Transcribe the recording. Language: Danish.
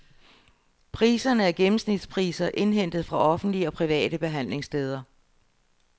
Priserne er gennemsnitspriser indhentet fra offentlige og private behandlingssteder.